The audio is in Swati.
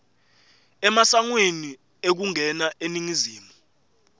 emasangweni ekungena eningizimu